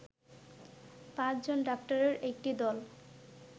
পাঁচজন ডাক্তারের একটি দল